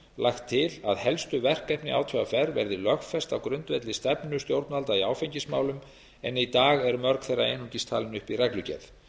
lagt til að helstu verkefni átvr verði lögfest á grundvelli stefnu stjórnvalda í áfengismálum en í dag eru mörg þeirra einungis talin upp í reglugerð